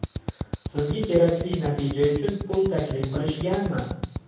Sizga kerakli natija uchun pul taklif qilishganmi?